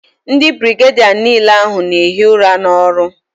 Ndi birigedia n'ile ahu n'ehi ura n'oru